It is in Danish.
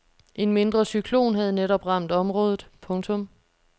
En mindre cyklon havde netop ramt området. punktum